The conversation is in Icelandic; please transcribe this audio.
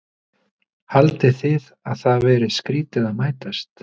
Haldið þið að það verið skrýtið að mætast?